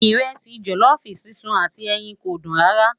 iresi jolofu sísun àti ẹyìn kò dùn rara